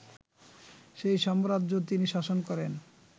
সেই সাম্রাজ্য তিনি শাসন করেন